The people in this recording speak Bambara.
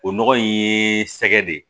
O nɔgɔ in ye sɛgɛ de ye